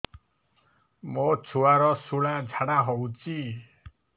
ମୋ ଛୁଆର ସୁଳା ଝାଡ଼ା ହଉଚି